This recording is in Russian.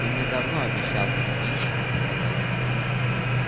ты мне давно обещал пингвинчиков показать